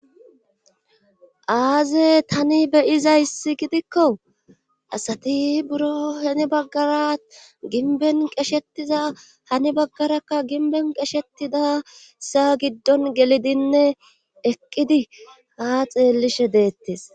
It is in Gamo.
aaze tani beyizayssi gidikko asati buro heni baggara ginben qeshetiza hani baggarakka ginben qeshetidasa giddon gelidinne eqqidi ha xeellishe deettes